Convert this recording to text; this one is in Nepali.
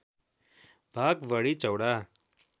भाग बढी चौडा